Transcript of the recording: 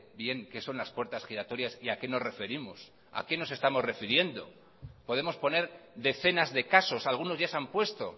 bien qué son las puertas giratorias y a qué nos referimos a qué nos estamos refiriendo podemos poner decenas de casos algunos ya se han puesto